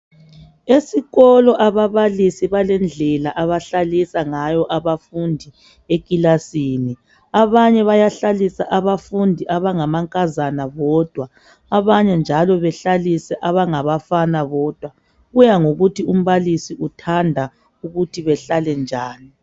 Esikolo ababalisi balendlela abahlalisa ngayo abafundi ekilasini abanye bayahlalisa abafundi abangamankazana bodwa abanye njalo behlalise abangabafana bodwa kuya ngokuthi umbalisi uthanda ukuthi behlale njani